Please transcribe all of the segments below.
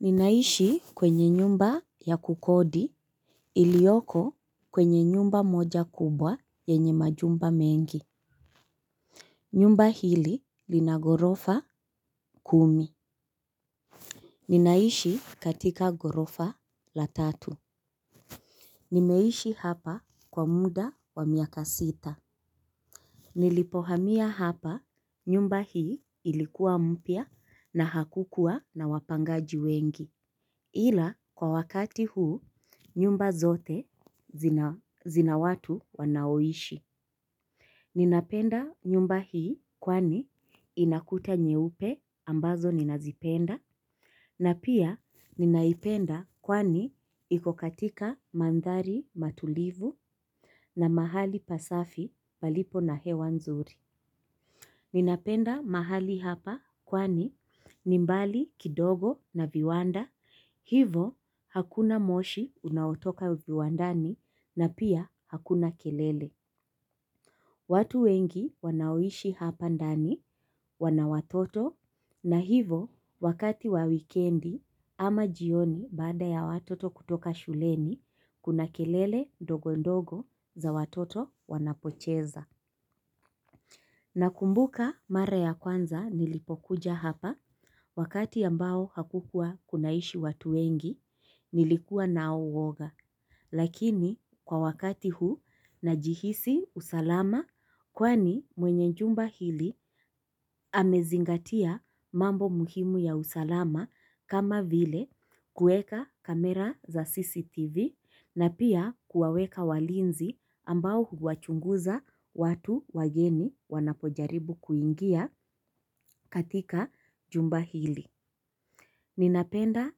Ninaishi kwenye nyumba ya kukodi iliyoko kwenye nyumba moja kubwa yenye majumba mengi. Nyumba hili lina ghorofa kumi. Ninaishi katika ghorofa la tatu. Nimeishi hapa kwa muda wa miaka sita. Nilipohamia hapa nyumba hii ilikuwa mpya na hakukua na wapangaji wengi ila kwa wakati huu nyumba zote zina watu wanaoishi. Ninapenda nyumba hii kwani inakuta nyeupe ambazo ninazipenda. Na pia ninaipenda kwani iko katika mandhari matulivu na mahali pasafi palipo na hewa nzuri. Ninapenda mahali hapa kwani nimbali kidogo na viwanda. Hivo, hakuna moshi unautoka viwandani na pia hakuna kelele. Watu wengi wanaoishi hapa ndani, wana watoto, na hivyo, wakati wa wikendi ama jioni baada ya watoto kutoka shuleni, kuna kelele ndogo ndogo za watoto wanapocheza. Na kumbuka mara ya kwanza nilipokuja hapa, wakati ambao hakukua kunaishi watu wengi, nilikuwa nao uoga. Lakini kwa wakati huu najihisi usalama kwani mwenye jumba hili amezingatia mambo muhimu ya usalama kama vile kuweka kamera za CCTV na pia kuwaweka walinzi ambao huwachunguza watu wageni wanapojaribu kuingia katika jumba hili. Ninapenda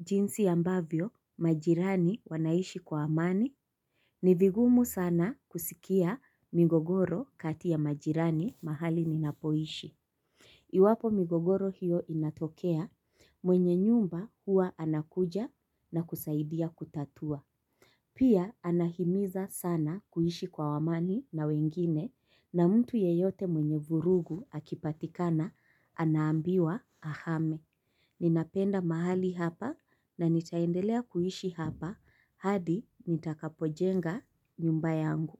jinsi ambavyo majirani wanaishi kwa amani. Ni vigumu sana kusikia migogoro kati ya majirani mahali ninapoishi. Iwapo migogoro hiyo inatokea mwenye nyumba huwa anakuja na kusaidia kutatua. Pia anahimiza sana kuishi kwa amani na wengine na mtu yeyote mwenye vurugu akipatikana anaambiwa ahame. Ninapenda mahali hapa na nitaendelea kuishi hapa hadi nitakapojenga nyumba yangu.